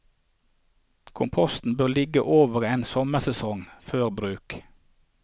Komposten bør ligge over en sommersesong før bruk.